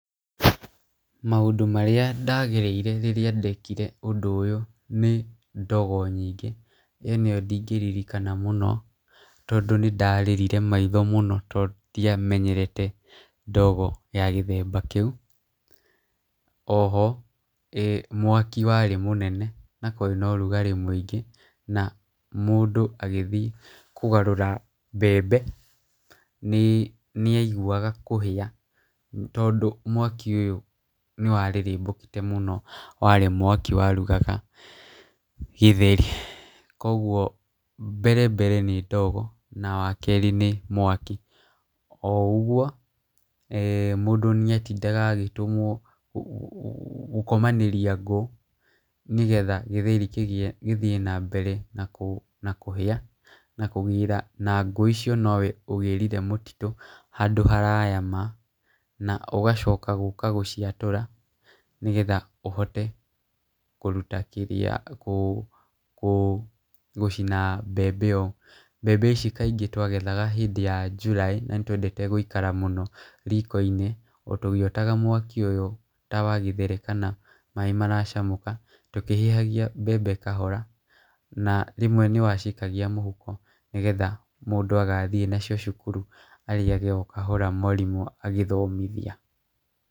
Maũndũ marĩa ndagereire rĩrĩa ndekire ũndũ ũyũ, nĩ ndogo nyingĩ, ĩyo nĩyo ndigĩririkana mũno, tondũ nĩndarĩrire maitho mũno tondũ ndia menyerete ndogo ya gĩhemba kĩu, oho mwaki warĩ mũnene, na kwarĩ na rũgarĩ mũingĩ , na mũndũ agĩthiĩ kũgarũra mbembe, nĩ aiguaga kũhĩa, tondũ mwaki ũyũ nĩ wa rĩrĩbũkire mũno, warĩ mwaki warugaga gĩtheri, kũgwo mbere mbere nĩ ndogo, na wakerĩ nĩ mwaki, o ũgwo e mũndũ nĩ atindaga agĩtũmwo gũkomanĩria ngũ nĩgetha gĩtheri gĩthiĩ na mbere na kũhĩa, na kũgĩra na ngũ icio nowe ugĩrire mũtitũ handũ haraya ma, na ũgacoka gũka gũciatũra nĩgetha ũhote kũruta kĩrĩa, kũ gũcina mbembe ũũ, mbembe ici kaingĩ twa gethaga hĩndĩ ya July, na nĩtwendete mũno gũikara riko-inĩ otũgĩ otaga mwaki ũyũ ta wa gĩthere, kana maaĩ maracũmaka, tũkĩhĩhagia mbembe kahora, na rĩmwe nĩ wa cikagia mũhuko, nĩgetha mũndũ agathiĩ nacio cukuru, arĩage o kahora mwarimũ agĩthomithia.